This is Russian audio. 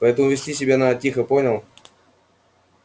поэтому вести себя надо тихо понял